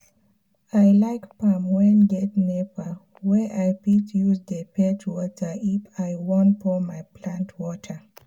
i like farm wen get nepa wey i fit use dey fetch water if i wan pour my plant water